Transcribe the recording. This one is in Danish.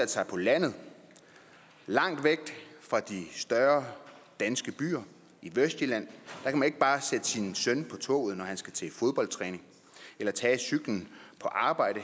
sig på landet langt væk fra de større danske byer i vestjylland kan man ikke bare sætte sin søn på toget når han skal til fodboldtræning eller tage cyklen på arbejde